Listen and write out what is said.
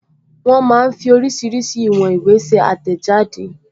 Wọ́n máa ń fí oríṣiríṣi ìwọn ìwé ṣe àtẹ̀jáde